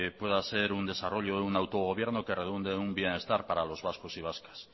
pueda ser un desarrollo de un autogobierno que redunde en un bienestar para los vascos y vascas